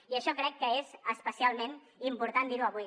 i això crec que és especialment important dirho avui